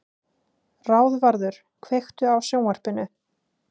Ráðvarður, kveiktu á sjónvarpinu.